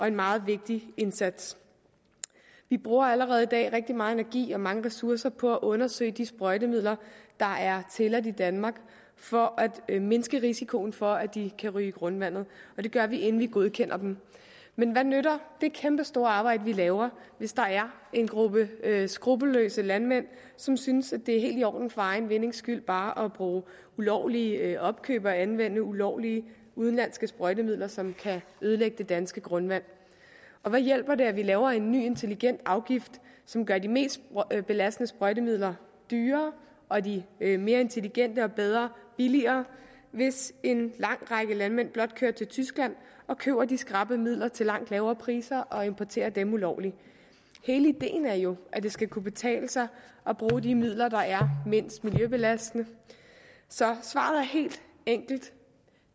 en meget vigtig indsats vi bruger allerede i dag rigtig meget energi og mange ressourcer på at undersøge de sprøjtemidler der er tilladt i danmark for at mindske risikoen for at de kan ryge i grundvandet og det gør vi inden vi godkender dem men hvad nytter det kæmpe store arbejde vi laver hvis der er en gruppe skruppelløse landmænd som synes det er helt i orden for egen vindings skyld bare at bruge ulovlige opkøb og anvende ulovlige udenlandske sprøjtemidler som kan ødelægge det danske grundvand og hvad hjælper det at vi laver en ny intelligent afgift som gør de mest belastende sprøjtemidler dyrere og de mere intelligente og bedre billigere hvis en lang række landmænd blot kører til tyskland og køber de skrappe midler til langt lavere priser og importerer dem ulovligt hele ideen er jo at det skal kunne betale sig at bruge de midler der er mindst miljøbelastende så svaret er helt enkelt